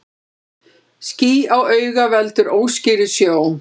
Ský á auga veldur óskýrri sjón.